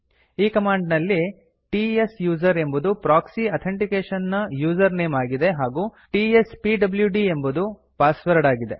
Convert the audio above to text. ಈ ಕಮಾಂಡ್ ನಲ್ಲಿ ಟ್ಸೂಸರ್ ಎಂಬುದು ಪ್ರೊಕ್ಸಿ ಅಥೆಂಟಿಕೇಶನ್ ನ ಯೂಸರ್ ನೇಮ್ ಆಗಿದೆ ಹಾಗೂ ಟಿಎಸ್ಪಿಡಿಯುಡಿ ಎಂಬುದು ಪಾಸ್ವರ್ಡ್ ಆಗಿದೆ